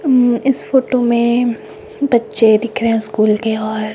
इस फोटो में बच्चे दिख रहे हैं स्कूल के और--